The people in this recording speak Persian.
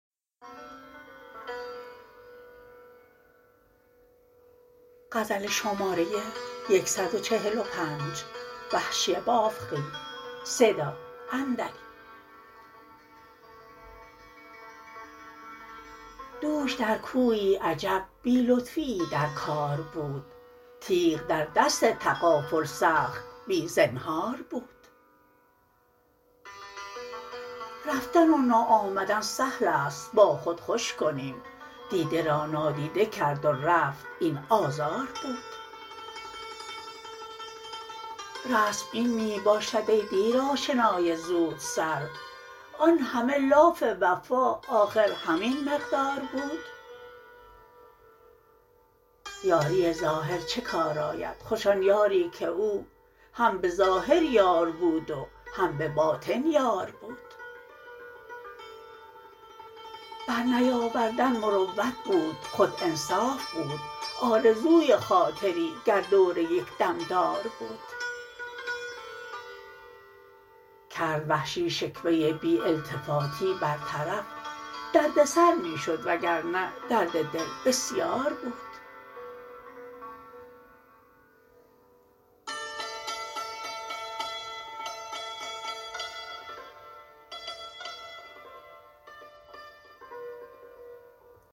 دوش در کویی عجب بی لطفیی در کار بود تیغ در دست تغافل سخت بی زنهار بود رفتن و ناآمدن سهل است با خود خوش کنیم دیده را نادیده کرد و رفت این آزار بود رسم این می باشد ای دیر آشنای زود سر آنهمه لاف وفا آخر همین مقدار بود یاری ظاهر چه کار آید خوش آن یاری که او هم به ظاهر یار بود و هم به باطن یار بود بر نیاوردن مروت بود خود انصاف بود آرزوی خاطری گردور یک دم دار بود کرد وحشی شکوه بی التفاتی برطرف درد سر می شد و گرنه درد دل بسیار بود